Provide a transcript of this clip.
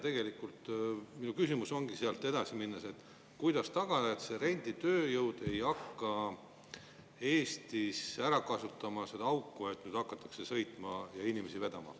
Minu küsimus ongi sealt edasi minnes, et kuidas tagada, et renditööjõud ei hakka Eestis ära kasutama seda auku ja ei hakata sõitma ja inimesi vedama.